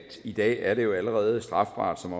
i dag er det allerede strafbart som